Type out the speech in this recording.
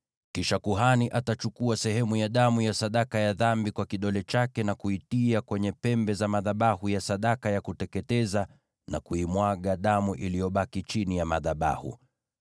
Kisha kuhani atachukua sehemu ya damu ya sadaka ya dhambi kwa kidole chake na kuitia kwenye pembe za madhabahu ya sadaka ya kuteketeza, na kuimwaga damu iliyobaki chini ya madhabahu.